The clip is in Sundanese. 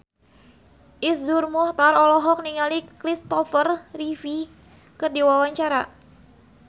Iszur Muchtar olohok ningali Christopher Reeve keur diwawancara